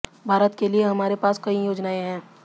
भारत के लिए हमारे पास कई योजनाएं हैं